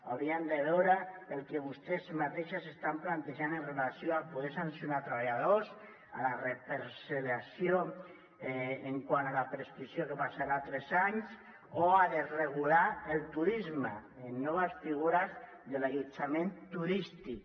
hauríem de veure el que vostès mateixes estan plantejant en relació amb poder sancionar treballadors a la reparcel·lació quant a la prescripció què passarà a tres anys o a desregular el turisme amb noves figures de l’allotjament turístic